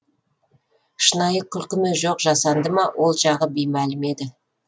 шынайы күлкі ме жоқ жасанды ма ол жағы беймәлім еді